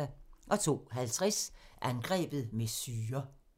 02:50: Angrebet med syre